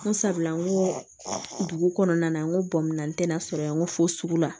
N ko sabula n ko dugu kɔnɔna na n ko bɔnna n tɛ na sɔrɔ yan n ko fo sugu la